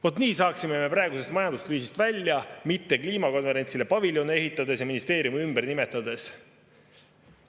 Vot nii saaksime me praegusest majanduskriisist välja, mitte kliimakonverentsile paviljone ehitades ja ministeeriume ümber nimetades.